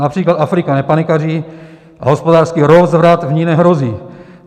Například Afrika nepanikaří a hospodářský rozvrat v ní nehrozí.